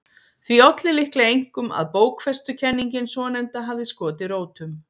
Því olli líklega einkum að bókfestukenningin svonefnda hafði skotið rótum.